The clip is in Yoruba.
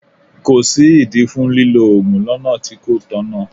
Kò sí ìdí fún lílọ Ògùn lọ́nà tí kò tọ̀nà.